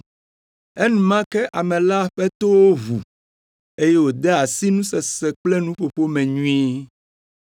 Enumake ame la ƒe towo ʋu, eye wòde asi nusese kple nuƒoƒo me nyuie.